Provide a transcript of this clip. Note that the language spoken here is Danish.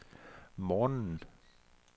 morgenen